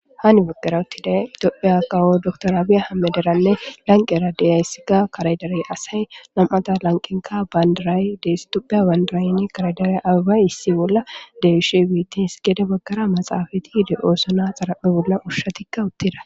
Hani bagara utiday Tophphiya kawo dokter Abiy Ahimederanne lanqera de'iyaysika kare dere asa; nam'ta lanqenka bandiray de'es; Tophphiya bandirayka kare dere abebay issi bolla de'ishe betees; gede baggara maxafey de'di ooso naytara a bolla ushshatika utida.